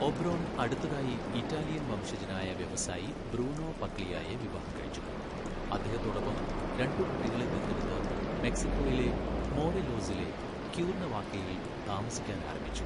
Oberon അടുത്തതായി Italian വംശജനായ വ്യവസായി ബ്രൂണോ പഗ്ലിയായെ വിവാഹം കഴിച്ചു, അദ്ദേഹത്തോടൊപ്പം രണ്ട് കുട്ടികളെ ദത്തെടുത്ത് മെക്സിക്കോയിലെ മോറെലോസിലെ ക്യൂർനവാക്കയിൽ താമസിക്കാൻ ആരംഭിച്ചു.